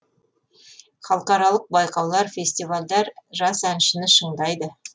халықаралық байқаулар фестивальдер жас әншіні шыңдайды